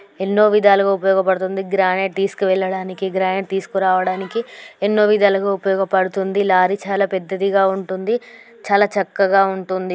ఎన్నో విధాలుగా ఉపయోగపడుతుంది. గ్రానైట్ తీసుకెళ్ల వెళ్ళడానికి గ్రానైడు తీసుకురావడానికి ఎన్నో విధాలుగా ఉపయోగపడుతుంది. లారీ చాలా పెద్దదిగా ఉంటుంది. చాలా చక్కగా ఉంటుంది.